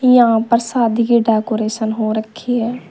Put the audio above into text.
यहां पर शादी की डेकोरेशन हो रखी है।